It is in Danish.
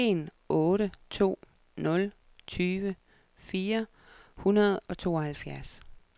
en otte to nul tyve fire hundrede og tooghalvfjerds